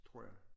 Tror jeg